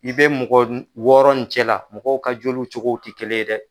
I bɛ mɔgɔ wɔɔrɔ in cɛ la, mɔgɔw ka joliw cogo tɛ kelen ye dɛ.